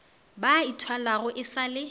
ba ithwalago e sa le